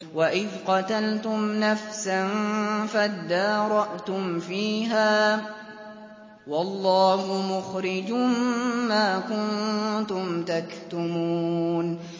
وَإِذْ قَتَلْتُمْ نَفْسًا فَادَّارَأْتُمْ فِيهَا ۖ وَاللَّهُ مُخْرِجٌ مَّا كُنتُمْ تَكْتُمُونَ